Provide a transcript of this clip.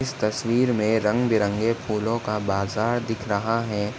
इस तस्वीर मे रंग-बिरंगे फूलों का बाजार दिख रहा है।